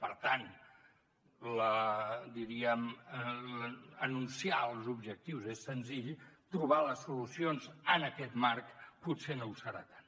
per tant diríem anunciar els objectius és senzill trobar les solucions en aquest marc potser no ho serà tant